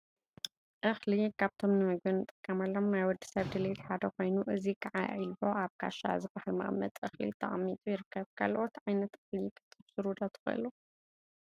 እክሊ ካብቶም ንምግቢ እንጥቀመሎም ናይ ወዲ ሰብ ድሌት ሓደ ኮይኑ፤ እዚ ከዓ ዒልቦ አብ ካሻ ዝበሃል መቀመጢ እክሊ ተቀሚጡ ይርከብ፡፡ ካልኦት ዓይነት እክሊ ክትዝርዝሩ ዶ ትክእሉ?